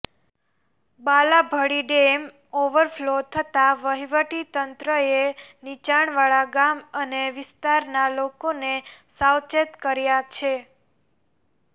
Balabhadi dam overflow થતા વહીવટી તંત્રએ નીચાણવાળા ગામ અને વિસ્તારના લોકોને સાવચેત કર્યા છે